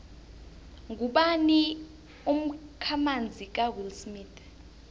ngubani umkhamanzi kawillsmith